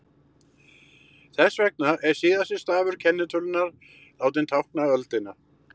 Þess vegna er síðasti stafur kennitölunnar látinn tákna öldina.